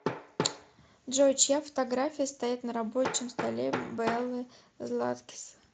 джой чья фотография стоит на рабочем столе беллы златкис